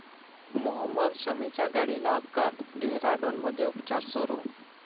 मोहम्मद शमीच्या गाडीला अपघात, डेहराडूनमध्ये उपचार सुरू